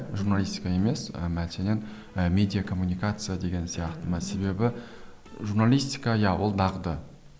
журналистика емес і мәселен і медиа коммуникация деген сияқты ма себебі журналистика иә ол дағды